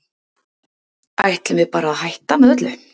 Ætlum við bara að hætta með öllu?